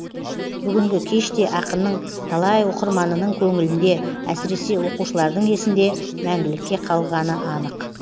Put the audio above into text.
бүгінгі кеш те ақынның талай оқырманының көңілінде әсіресе оқушылардың есінде мәңгілікке қалғаны анық